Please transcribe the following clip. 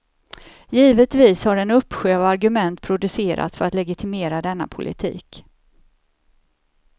Givetvis har en uppsjö av argument producerats för att legitimera denna politik.